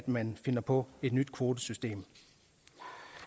man finder på et nyt kvotesystem